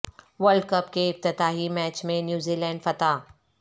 world cup کے افتتاحی match میں نیوزی لینڈ فاتح